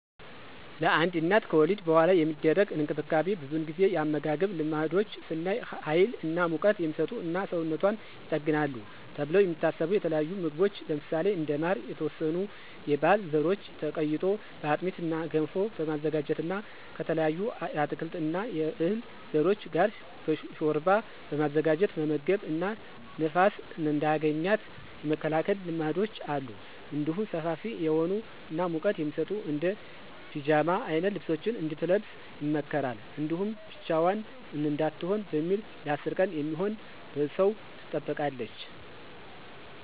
ለአንድ እናት ከወሊድ በኃላ የሚደረግ እንክብካቤ ብዙውን ጊዜ የአመጋገብ ልማዶች ስናይ ሀይል እና ሙቀት" የሚሰጡ እና ሰውነቷን ይጠግናሉ ተብለው የሚታሰቡ የተለያዩ ምግቦች ለምሳሌ እንደ ማር፣ የተወሰኑ የህል ዘሮች ተቀይጦ በአጥሚት እና ገንፎ በማዘጋጀት እና ከተለያዩ የአትክልት እና የዕህል ዘሮች ጋር ሾርባ በማዘጋጀት መመገብ እና ንፋስ እንዳያገኛት የመከላከል ልማዶች አሉ። እንዲሁም ሰፋፊ የሆኑ እና ሙቀት የሚሰጡ እንደ ፒጃማ አይነት ልብሶችን እንድትለብስ ይመከራል። እንዲሁም ብቻዋን እንዳትሆን በሚል ለ10 ቀን የሚሆን በሰው ትጠበቃለች።